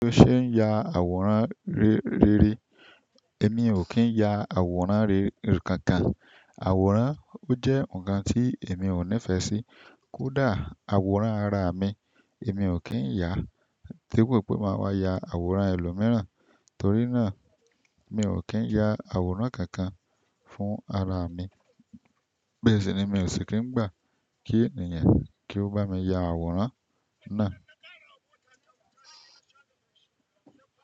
Ó ṣe n ya àwòrán rere. Èmi ò kí ń ya àwòrán rere kankan. Àwòrán ó jẹ́ ǹkan tí èmi ò nífẹ̀ẹ́ sí. Kódà àwòrán ara mi, èmi ò kí ń yà á. Depo pé máa wá ya àwòrán ẹlòmíràn, torí náà mi ò kí ń ya àwòrán kankan fún ara mi. Bẹ́ẹ̀ sì ni mi ò sì kí ń gbà kí ènìyàn kí ó bá mi ya àwòrán náà.